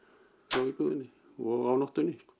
frá íbúðinni og á nóttunni